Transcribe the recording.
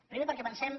primer perquè pensem